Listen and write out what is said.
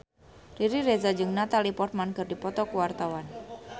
Riri Reza jeung Natalie Portman keur dipoto ku wartawan